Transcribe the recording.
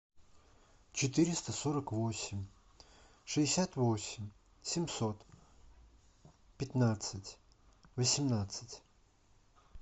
четыреста сорок восемь шестьдесят восемь семьсот пятнадцать восемнадцать